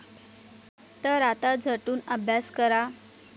तर आता झटून अभ्यास करा.